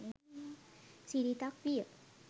සිරිතක් විය.